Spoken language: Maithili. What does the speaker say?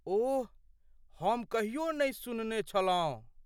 ओह, हम कहियो नहि सुनने छलहुँ!